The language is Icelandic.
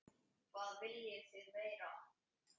Hvað viljið þið meira?